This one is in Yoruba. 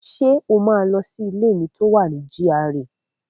Ṣé o máa lọ sí ilé mi tó wà GRA?